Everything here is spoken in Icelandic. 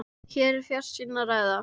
Hér er um fjarsýni að ræða.